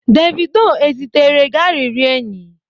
Davido ezitere gi arịrịọ enyi?